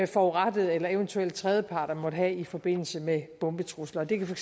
forurettede eller eventuelle tredjeparter måtte have i forbindelse med bombetrusler det kan for